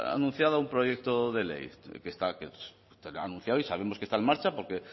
anunciado un proyecto de ley que está anunciado y sabemos que está en marcha porque